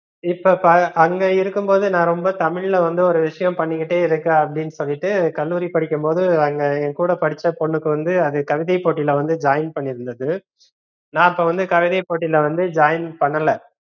இப்ப அங்க இருக்கும்போது நா ரொம்ப தமிழ்ல வந்து ஒரு விஷயம் பண்ணிகிட்டே இருக்கேன் அப்படின்னு சொல்லிட்டு கல்லூரி படிக்கும்போது அங்க என்கூட படிச்ச பொண்ணுக்கு வந்து அது கவிதை போட்டில வந்து join பன்னிருந்தது நா அப்போ வந்து கவிதை போட்டில வந்து join பண்ணல